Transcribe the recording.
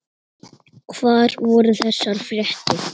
Hvar voru þessar fréttir?